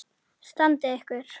Standið ykkur!